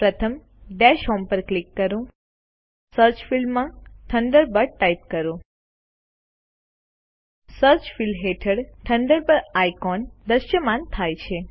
પ્રથમ dash home પર click કરો સર્ચ ફિલ્ડમાં થન્ડરબર્ડ ટાઈપ કરો સર્ચ ફિલ્ડ હેઠળ થન્ડરબર્ડ આઇકોન દ્રશ્યમાન થાય છે